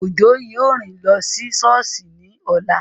Òjó yóò rìn lọ sí sọ́ọ̀sì ní ọ̀la